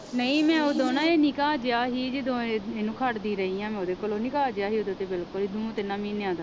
ਨਹੀਂ ਮੈਂ ਉਦੋਂ ਨਾ ਇਹ ਨਿੱਕਾ ਜਿਹਾ ਸੀ ਜਦੋਂ ਇਹ ਇਹਨੂੰ ਖੜਦੀ ਰਹੀ ਹਾਂ ਮੈਂ ਉਹਦੇ ਕੋਲੋਂ ਨਿੱਕਾ ਜਿਹਾ ਸੀ ਉਦੋਂ ਤੇ ਬਿਲਕੁਲ ਹੀ ਦੋ ਤਿੰਨਾ ਮਹੀਨਿਆਂ ਦਾ।